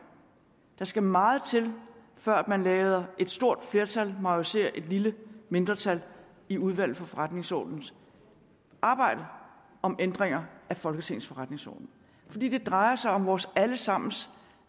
der skal meget til før man lader et stort flertal majorisere et lille mindretal i udvalget for forretningsordenens arbejde om ændringer af folketingets forretningsorden fordi det drejer sig om vores alle sammens